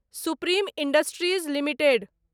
supreme industries limited